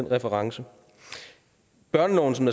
referencen børneloven som